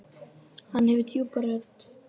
Hann hefur djúpa rödd.